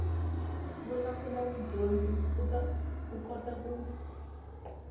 vulavula mudyondzi u kota ku